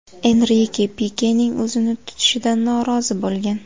Enrike Pikening o‘zini tutishidan norozi bo‘lgan.